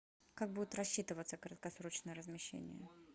как будет рассчитываться краткосрочное размещение